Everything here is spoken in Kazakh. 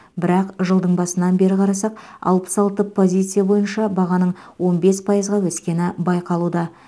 бірақ жылдың басынан бері қарасақ алпыс алты позиция бойынша бағаның он бес пайызға өскені байқалуда